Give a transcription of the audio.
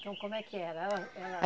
Então, como é que era ela ela